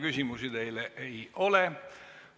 Küsimusi teile ei ole.